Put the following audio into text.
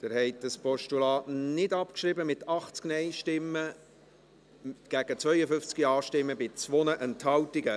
Sie haben dieses Postulat nicht abgeschrieben, mit 80 Nein- gegen 52 Ja-Stimmen bei 2 Enthaltungen.